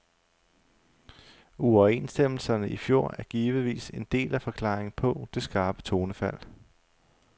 Uoverenstemmelserne i fjor er givetvis en del af forklaringen på det skarpe tonefald.